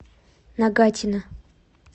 нагатино